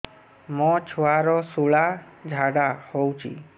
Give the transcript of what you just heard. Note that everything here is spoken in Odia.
ମୋ ଛୁଆର ସୁଳା ଝାଡ଼ା ହଉଚି